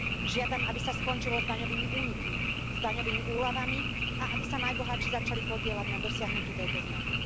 Žiadam, aby sa skončilo s daňovými únikmi, s daňovými úľavami a aby sa najbohatší začali podieľať na dosiahnutí tejto zmeny.